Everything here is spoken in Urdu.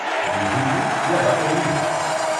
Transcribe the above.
میٹھی عید یا بقر عید؟